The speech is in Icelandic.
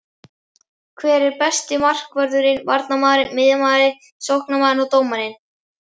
Hver er besti markvörðurinn, varnarmaðurinn, miðjumaðurinn, sóknarmaðurinn og dómarinn?